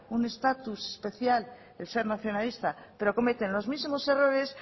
un estatus especial al ser nacionalista pero cometen los mismos errores